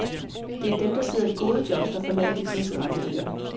Det er dem, der sidder i gode jobs, der forlader de kriseramte øer.